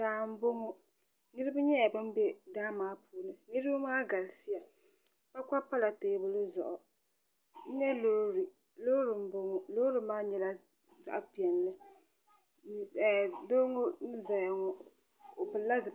Daa n boŋo niraba nyɛla bin bɛ daa maa puuni niraba maa galisiya kpakpa pala teebuli zuɣu n nyɛ loori loori n boŋo loori maa nyɛla zaɣ piɛlli doo ŋo n ʒɛya ŋo o pilla zipiligu